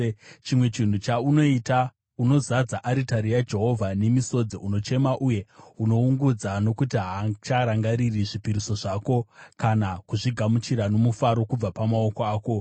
Chimwe chinhu chaunoita: Unozadza aritari yaJehovha nemisodzi. Unochema uye unoungudza nokuti haacharangariri zvipiriso zvako kana kuzvigamuchira nomufaro kubva pamaoko ako.